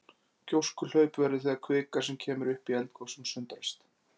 Gjóskuhlaup verða þegar kvika sem kemur upp í eldgosum sundrast.